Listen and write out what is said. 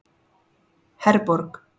Herborg